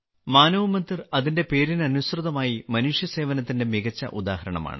മാനവ് മന്ദിർ അതിന്റെ പേരിന് അനുസൃതമായി മനുഷ്യസേവനത്തിന്റെ മികച്ച ഉദാഹരണമാണ്